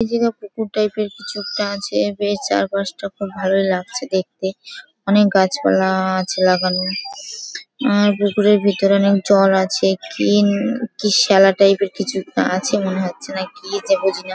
এই জায়গায় পুকুর টাইপ এর কিছু একটা আছে বেশ চারপাশটা খুব ভালোই লাগছে দেখতে। অনেক গাছপালা-আ আছে লাগানো। পুকুরের ভিতরে অনেক জল আছে। কি কি শ্যালা টাইপ এর কিছু আছে মনে হচ্ছে না কি যে বুঝিনা ।